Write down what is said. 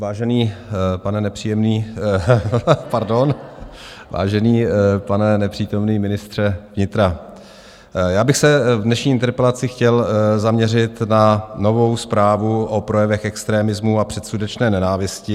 Vážený pane nepříjemný - pardon, vážený pane nepřítomný ministře vnitra, já bych se v dnešní interpelaci chtěl zaměřit na novou zprávu o projevech extremismu a předsudečné nenávisti.